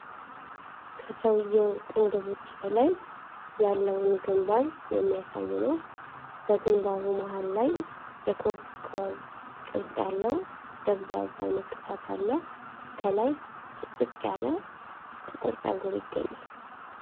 ከሰውዬው ቅንድቦች በላይ ያለውን ግንባርን የሚያሳይ ነው። በግንባሩ መሃል ላይ የኮከብ ቅርጽ ያለው ደብዛዛ ንቅሳት አለ። ከላይ ጥቅጥቅ ያለ ጥቁር ፀጉር ይገኛል።